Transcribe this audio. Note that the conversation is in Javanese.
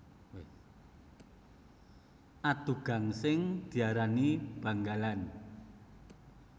Adu gangsing diarani banggalan